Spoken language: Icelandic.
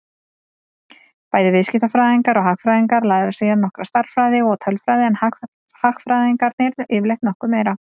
Bæði viðskiptafræðingar og hagfræðingar læra síðan nokkra stærðfræði og tölfræði en hagfræðingarnir yfirleitt nokkuð meira.